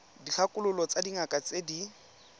dikgakololo tsa dingaka tse di